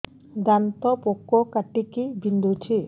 ଦାନ୍ତ ପୋକ କାଟିକି ବିନ୍ଧୁଛି